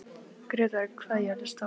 Grétar, hvað er jörðin stór?